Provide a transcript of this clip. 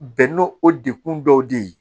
Bɛn n'o o dekun dɔw de ye